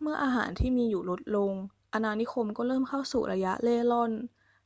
เมื่ออาหารที่มีอยู่ลดลง อาณานิคมก็เริ่มเข้าสู่ระยะเร่ร่อน